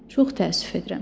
Çox təəssüf edirəm.